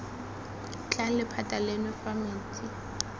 tlang lephata leno fa metsi